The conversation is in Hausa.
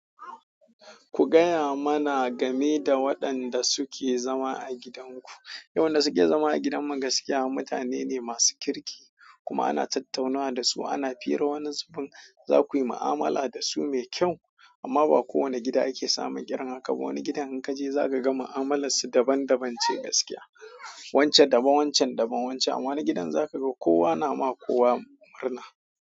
Ku gaya mana game da waɗanda suke zama a gidanku. Waɗanda suke zama a gidan mu gaskiya mutane ne masu kirki kuma ana tattaunawa da su ana fira wani zubin za ku yi ma'amala da su mai kyau amma ba kowane gida ake samun irin haka ba. Wani gidan in ka je za ka ga ma'amalar su daban-daban ce gaskiya. Wancan daban, wancan daban wancan, amma wani gidan za ka ga kowa na ma kowa murna.